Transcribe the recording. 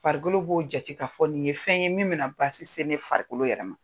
Farikolo b'o jate k'a fɔ nin ye fɛn ye min bɛna baasi se ne farikolo yɛrɛma